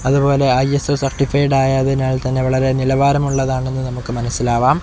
അതുപോലെ ISO certified ആയതിനാൽ തന്നെ വളരെ നിലവാരമുള്ളതാണെന്നു നമുക്ക് മനസിലാവാം.